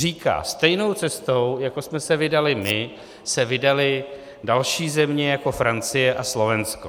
Říká: stejnou cestou, jako jsme se vydali my, se vydaly další země jako Francie a Slovensko.